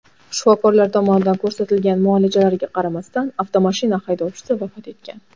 Shifokorlar tomonidan ko‘rsatilgan muolajalarga qaramasdan, avtomashina haydovchisi vafot etgan.